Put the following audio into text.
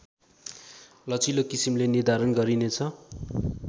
लचिलो किसिमले निर्धारण गरिनेछ